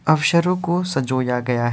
अवसरो को साजोया गया --